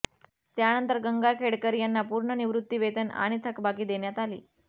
त्यानंतर गंगाखेडकर यांना पूर्ण निवृत्तिवेतन आणि थकबाकी देण्यात आली